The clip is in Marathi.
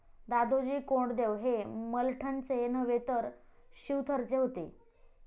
दादोजी कोंडदेव हे मलठनचे नव्हे तर शिवथरचे होते.